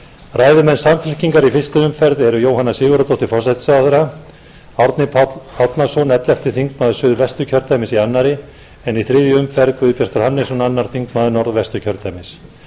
ræðumenn samfylkingar eru í fyrstu umferð jóhanna sigurðardóttir forsætisráðherra árni páll árnason ellefti þingmaður suðvesturkjördæmis í annarri en í þriðju um ferð guðbjartur hannesson öðrum þingmönnum norðvesturkjördæmis